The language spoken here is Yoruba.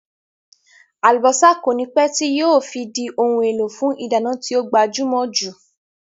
Àlùbọ́sá kònípẹ́ tíì yìí ó fi di òun èlò fún ìdáná tí ó gbajúmò jù